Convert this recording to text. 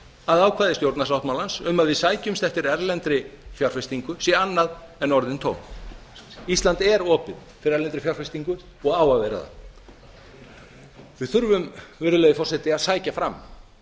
að ákvæði stjórnarsáttmálans um að við sækjumst eftir erlendri fjárfestingu sé annað en orðin tóm ísland er opið fyrir erlendri fjárfestingu og á að vera það við þurfum virðulegi forseti að sækja fram